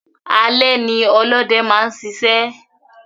Alé ní olóde máa n sisẹ́